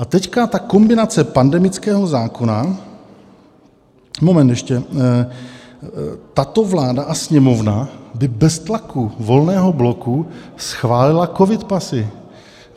A teď ta kombinace pandemického zákona - moment ještě - tato vláda a Sněmovna by bez tlaku Volného bloku schválila covidpasy.